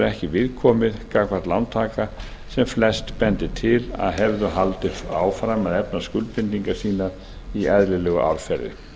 ekki viðkomið gagnvart lántaka sem flest bendir til að hefði haldið áfram að efna skuldbindingar sínar í eðlilegu árferði